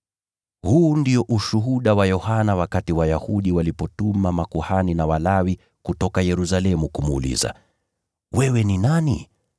Huu ndio ushuhuda wa Yohana wakati Wayahudi walipowatuma makuhani na Walawi kutoka Yerusalemu kumuuliza, “Wewe ni nani?”